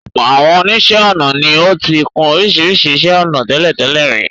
Ọ̀pọ̀ àwọn oníṣẹ́ ọnà ni ó ti kun oríṣiríṣi iṣẹ́ ọnà tẹ́lẹ̀tẹ́lẹ̀ rí.